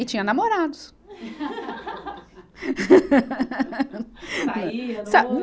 E tinha namorados.